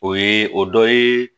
O ye o dɔ ye